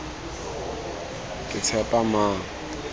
ketshepamang